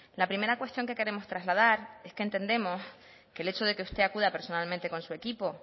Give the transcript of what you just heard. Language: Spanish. la primera cuestión que queremos trasladar es que entendemos que el hecho de que usted acuda personalmente con su equipo